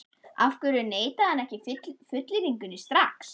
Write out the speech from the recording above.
Af hverju neitaði hann ekki fullyrðingunni strax?